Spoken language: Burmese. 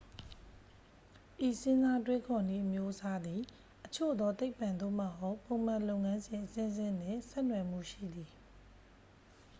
ဤစဉ်းစားတွေးခေါ်နည်းအမျိုးအစားသည် အချို့သော သိပ္ပ့ သို့မဟုတ် ပုံမှန်လုပ်ငန်းစဉ်အဆင့်ဆင့်နှင့် ဆက်နွယ်မှုရှိသည်